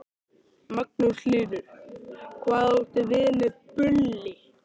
Magnús Hlynur: Hvað áttu við með bulli?